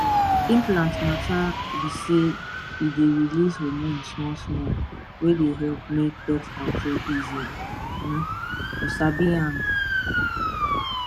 implant mata b saye dey release hormone smallsmallwey dey help make birth control easy um u sabi m small pause